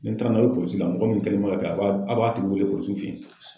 Ni n taara n'aw ye polisi la, mɔgɔ min kɛlen don ka kɛ a b'a a b'a tigi wele polisiw fe yen.